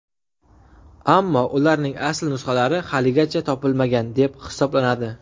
Ammo ularning asl nusxalari haligacha topilmagan deb hisoblanadi.